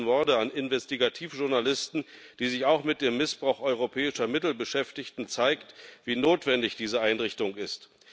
Die jüngsten Morde an Investigativjournalisten, die sich auch mit dem Missbrauch europäischer Mittel beschäftigten, zeigt, wie notwendig diese Einrichtung ist.